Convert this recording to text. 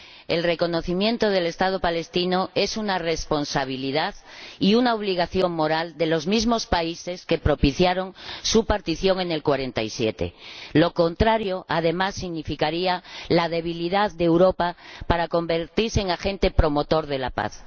El reconocimiento del Estado palestino es una responsabilidad y una obligación moral de los mismos países que propiciaron su partición en 1947. Lo contrario, además, significaría la debilidad de Europa para convertirse en agente promotor de la paz.